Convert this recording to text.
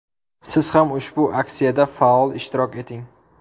Siz ham ushbu aksiyada faol ishtirok eting.